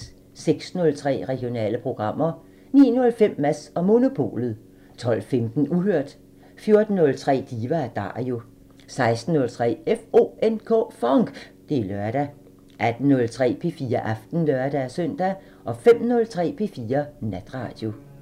06:03: Regionale programmer 09:05: Mads & Monopolet 12:15: Uhørt 14:03: Diva & Dario 16:03: FONK! Det er lørdag 18:03: P4 Aften (lør-søn) 05:03: P4 Natradio